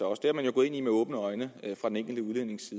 også det er man jo gået ind i med åbne øjne fra den enkelte udlændings